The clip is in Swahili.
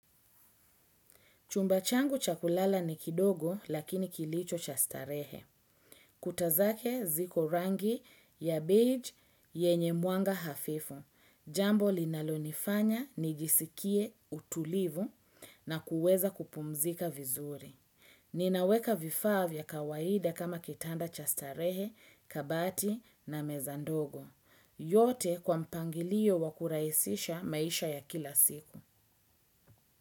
Chumba changu cha kulala ni kidogo lakini kilicho cha starehe. Kuta zake ziko rangi ya beige yenye mwanga hafifu. Jambo linalonifanya nijisikie utulivu na kuweza kupumzika vizuri. Ninaweka vifaa vya kawaida kama kitanda cha starehe kabati na meza ndogo. Yote kwa mpangilio wa kurahisisha maisha ya kila siku.